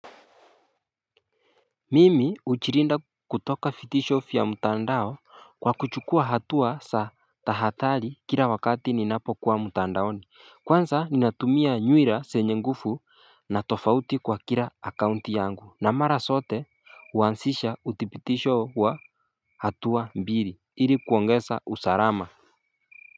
Mimi hujilinda kutoka vitisho vya mtandao, kwa kuchukua hatua na kutahadhari kila wakati ninapokuwa mtandaoni. Kwazsa ninatumia nywira zenye nguvu na tofauti kwa kila akaunti yangu, na mara zote kuanzisha udhibitisho wa hatua mbili, ili kuongeza usalama.